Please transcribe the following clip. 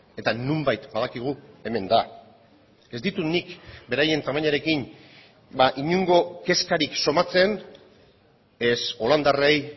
eta nonbait badakigu hemen da ez ditut nik beraien tamainarekin inongo kezkarik somatzen ez holandarrei